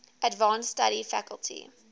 advanced study faculty